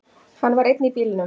Hann var einn í bílnum.